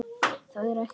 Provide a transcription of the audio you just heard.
Það er ekkert að því.